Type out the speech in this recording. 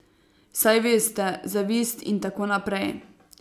Saj veste, zavist in tako naprej.